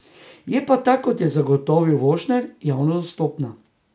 Je pa ta, kot je zagotovil Vošner, javno dostopna.